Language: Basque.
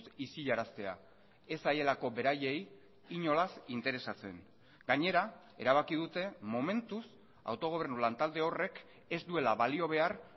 isilaraztea ez zaielako beraiei inolaz interesatzen gainera erabaki dute momentuz autogobernu lantalde horrek ez duela balio behar